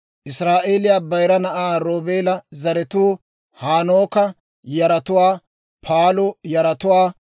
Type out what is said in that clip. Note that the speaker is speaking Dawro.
Israa'eeliyaa bayira na'aa Roobeela zaratuu: Hanooka yaratuwaa, Paalu yaratuwaa,